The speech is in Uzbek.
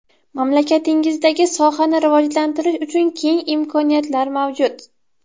Mamlakatingizda sohani rivojlantirish uchun keng imkoniyatlar mavjud.